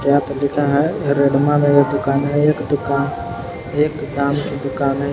यहा पे लिखा है रेडमा मे ये दुकान है एक दुकान एकदाम की दुकान है इस--